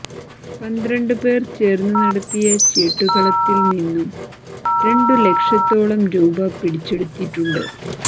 പന്ത്രണ്ട് പേർ ചേർന്ന് നടത്തിയ ചീട്ടുകളത്തിൽ നിന്നും രണ്ടു ലക്ഷത്തോളം രൂപ പിടിച്ചെടുത്തിട്ടുണ്ട്